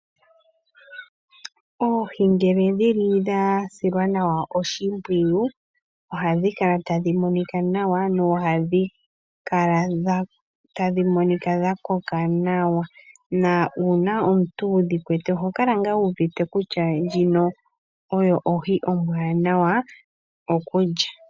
Oohi ngele dhili dha silwa nawa oshimpwiyu ohadhi kala tadhi monika nawa na ohadhi kala tadhi monika dha koka nawa na una omuntu wudhikwete oho kala nga wu uvite kutya ndjika oyo ohi ombwanawa okulya.